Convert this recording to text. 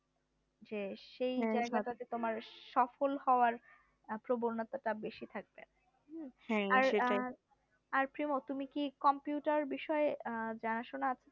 যে সেই জায়গাটাতে তোমার সফল হওয়ার প্রবণতা বেশি থাকবে আর প্রেম তুমি কি computer বিষয়ে জানাশোনা আছে